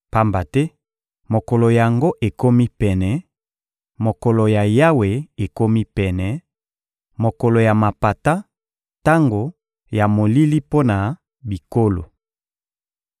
Pamba te mokolo yango ekomi pene; mokolo ya Yawe ekomi pene, mokolo ya mapata, tango ya molili mpo na bikolo.